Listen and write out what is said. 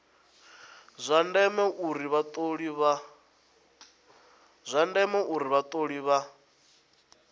zwa ndeme uri vhatholi vha